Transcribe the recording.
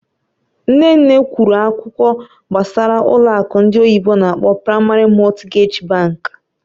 Nne nne kwuru akụkọ gbasara ụlọ akụ ndị oyibo n'akpọ "Primary Mortgage Bank",